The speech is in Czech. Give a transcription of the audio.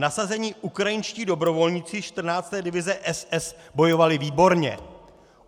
Nasazení ukrajinští dobrovolníci 14. divize SS bojovali výborně.